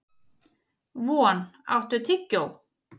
Von, áttu tyggjó?